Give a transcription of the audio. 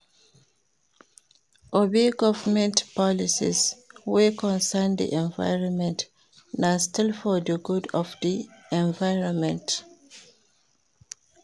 Obey government policies wey concern di environment na still for di good of di environment